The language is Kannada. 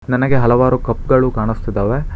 ನನಗೆ ಹಲವಾರು ಕಪ್ ಗಳು ಕಾಣಸ್ತಿದ್ದವೆ.